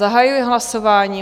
Zahajuji hlasování.